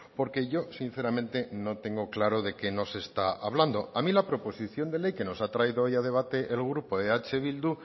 porque yo sinceramente no tengo claro de qué nos está hablando a mí la proposición de ley que nos ha traído hoy a debate el grupo eh bildu